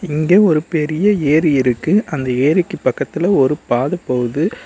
இங்க ஒரு பெரிய ஏரி இருக்கு அந்த ஏரிக்கு பக்கத்துல ஒரு பாத போகுது.